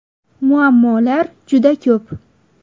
Muammolar juda ko‘p.